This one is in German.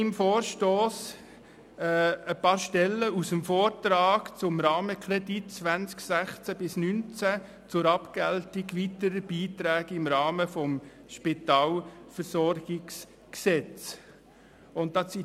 In meinem Vorstoss zitiere ich ein paar Stellen aus dem Vortrag zum «Rahmenkredit 2016–2019 zur Abgeltung weiterer Beiträge im Rahmen des Spitalversorgungsgesetzes».